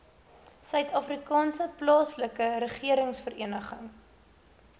suidafrikaanse plaaslike regeringsvereniging